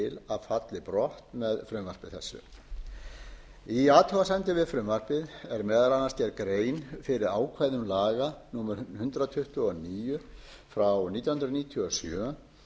að falli brott með frumvarpi þessu í athugasemdum við frumvarpið er meðal annars gerð grein fyrir ákvæðum laga númer hundrað tuttugu og níu nítján hundruð níutíu og sjö um